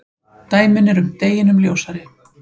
Dæmin eru deginum ljósari.